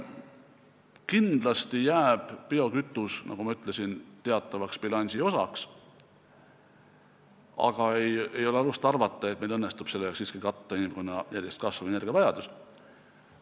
Kindlasti jääb biokütus, nagu ma ütlesin, teatavaks bilansi osaks, aga ei ole alust arvata, et meil õnnestub sellega siiski katta inimkonna järjest kasvavat energiavajadust.